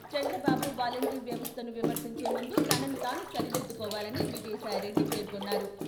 Chandrababu volunteer వ్యవస్థను విమర్శించే ముందు తనను తాను సరిదిద్దు కోవాలని విజయసాయి రెడ్డి పేర్కొన్నారు.